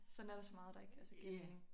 Sådan er der så meget der ikke altså giver mening